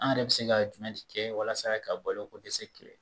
An yɛrɛ bɛ se ka jumɛn de kɛ walasa ka balo ko dɛsɛ kɛlɛ